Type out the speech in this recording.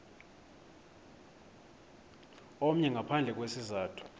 omnye ngaphandle kwesizathu